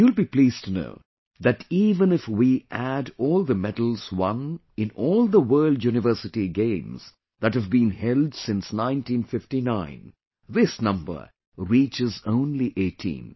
You will be pleased to know that even if we add all the medals won in all the World University Games that have been held since 1959, this number reaches only 18